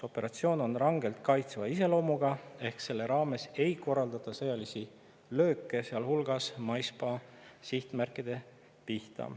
Operatsioon on rangelt kaitsva iseloomuga ehk selle raames ei korraldata sõjalisi lööke, sealhulgas maismaa sihtmärkide pihta.